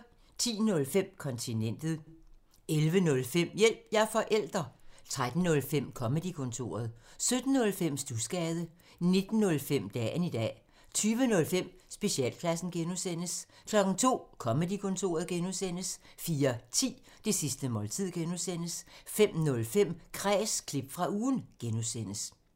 10:05: Kontinentet 11:05: Hjælp – jeg er forælder! 13:05: Comedy-kontoret 17:05: Studsgade 19:05: Dagen i dag 20:05: Specialklassen (G) 02:00: Comedy-kontoret (G) 04:10: Det sidste måltid (G) 05:05: Kræs – klip fra ugen (G)